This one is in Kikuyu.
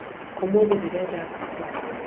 ũmũthĩ ndĩrenda ngũkũ